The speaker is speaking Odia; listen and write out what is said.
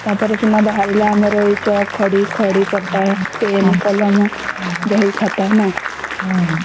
ଟା ପରେ ସିନା ବାହାରିଲା ଏଇ ଚକ ଖଡ଼ି ଖଡ଼ି ପଟା ପେନ କଲମ ବହି ଖାତା ନ